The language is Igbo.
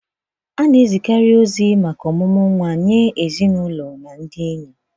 A na-amekarị ọkwa maka omumu nwa nye ezinụlọ na ndị enyi.